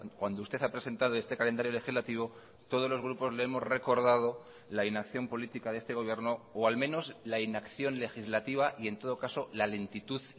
cuando usted ha presentado este calendario legislativo todos los grupos le hemos recordado la inacción política de este gobierno o al menos la inacción legislativa y en todo caso la lentitud